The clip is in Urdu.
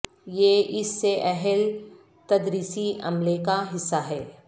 یہ اس سے اہل تدریسی عملے کا حصہ ہے